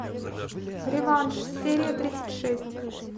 реванш серия тридцать шесть